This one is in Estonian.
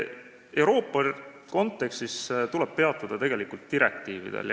Euroopa kontekstis tuleb peatuda direktiividel.